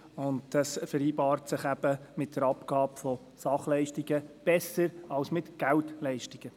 Dieses vereinbart sich mit der Abgabe von Sachleistungen besser als mit Geldleistungen.